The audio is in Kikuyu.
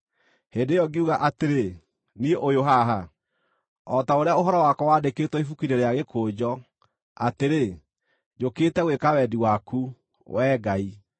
Hĩndĩ ĩyo ngiuga atĩrĩ, ‘Niĩ ũyũ haha, o ta ũrĩa ũhoro wakwa wandĩkĩtwo ibuku-inĩ rĩa gĩkũnjo, atĩrĩ: njũkĩte gwĩka wendi waku, Wee Ngai.’ ”